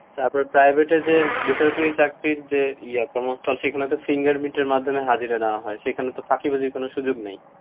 তারপরে private এ যে, বেসরকারি চাকরির যে, ইয়ে, কর্মস্থল, সেখানে তো finger print এর মাধ্যমে হাজিরা নেওয়া হয়, সেখানে তো ফাঁকিবাজির কোনো সুযোগ নেই।